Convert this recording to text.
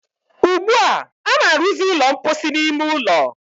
ugbua, a na-arụzị ụlọ mposi n'ime ụlọ.